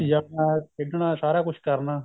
ਜਾਣਾ ਖੇਡਣਾ ਸਾਰਾ ਕੁੱਝ ਕਰਨਾ